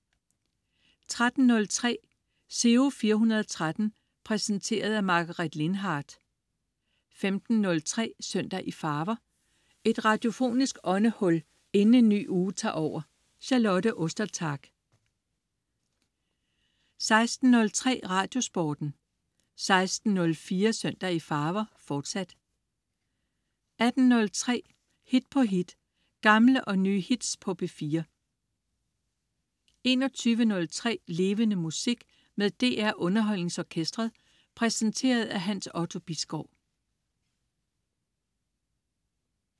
13.03 Giro 413. Præsenteret af Margaret Lindhardt 15.03 Søndag i farver. Et radiofonisk åndehul inden en ny uge tager over. Charlotte Ostertag 16.03 Radiosporten 16.04 Søndag i farver, forsat 18.03 Hit på hit. Gamle og nye hits på P4 21.03 Levende Musik. Med DR UnderholdningsOrkestret. Præsenteret af Hans Otto Bisgaard